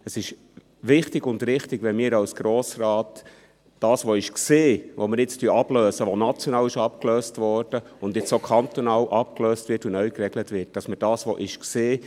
Es ist wichtig und richtig, wenn wir als Grosser Rat versuchen, unter das, was war – das, was wir jetzt ablösen, das, was national schon abgelöst wurde und jetzt auch kantonal abgelöst und neu geregelt wird –, einen sauberen Strich zu ziehen.